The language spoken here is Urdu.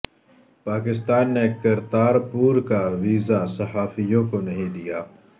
پاکستان نے کرتارپور کا ویزا صحافیوں کو نہیں دیا